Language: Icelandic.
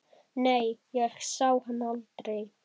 Nei, ég sá hann aldrei.